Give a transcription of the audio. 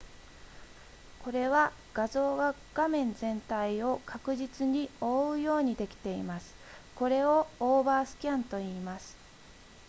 これは画像が画面全体を確実に覆うようにできていますこれをオーバースキャンといいます